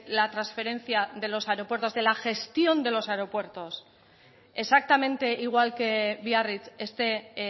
la transferencia de los aeropuertos de la gestión de los aeropuertos exactamente igual que biarritz esté